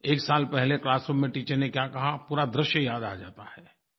एक साल पहले क्लासरूम में टीचर ने क्या कहा पूरा दृश्य याद आ जाता है